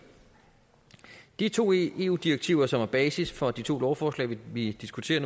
de to eu direktiver som er basis for de to lovforslag vi diskuterer